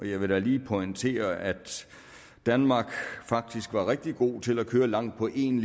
jeg vil da lige pointere at danmark faktisk var rigtig gode til at køre langt på en